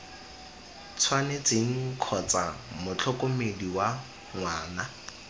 tshwanetseng kgotsa motlhokomedi wa ngwana